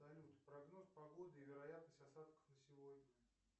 салют прогноз погоды и вероятность осадков на сегодня